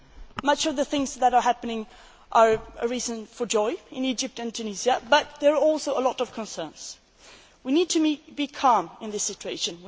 Many of the things that are happening are a reason for joy in Egypt and Tunisia but there are also a lot of concerns. We need to be calm in this situation.